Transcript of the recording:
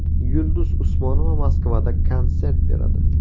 Yulduz Usmonova Moskvada konsert beradi.